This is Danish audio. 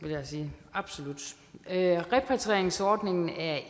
jeg sige absolut repatrieringsordningen er